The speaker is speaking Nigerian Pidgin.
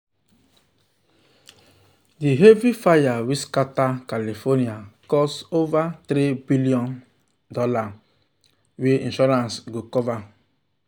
um the heavy fire wey scatter california cause over um $3 billion wahala wey insurance um go cover.